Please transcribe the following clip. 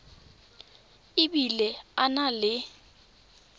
e bile a na le